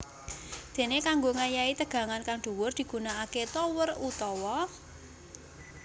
Dene kanggo ngayahi tegangan kang dhuwur digunakake tower utawa